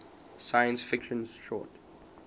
science fiction short